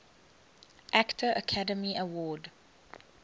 actor academy award